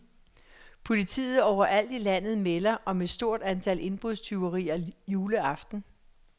Politiet overalt i landet melder om et stort antal indbrudstyverier juleaften.